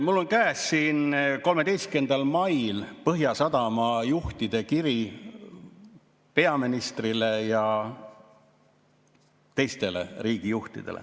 Mul on käes 13. mail saadetud Põhjasadama juhtide kiri peaministrile ja teistele riigijuhtidele.